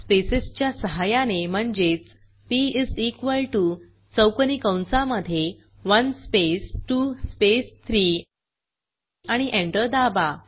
स्पेसच्या सहाय्याने म्हणजेच पी इस इक्वॉल टीओ चौकोनी कंसामधे 1 स्पेस 2 स्पेस 3 आणि एंटर दाबा